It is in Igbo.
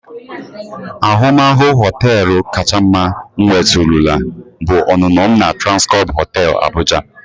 Ahụmahụ họteelu kacha mma m nwetụrụla bụ ọnụnọ m na Transcorp hotel Abuja.